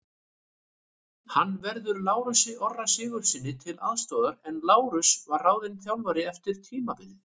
Hann verður Lárusi Orra Sigurðssyni til aðstoðar en Lárus var ráðinn þjálfari eftir tímabilið.